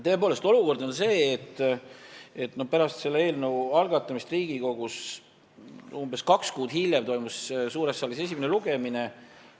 Tõepoolest, olukord on see, et pärast selle eelnõu algatamist Riigikogus, umbes kaks kuud hiljem, toimus suures saalis esimene lugemine.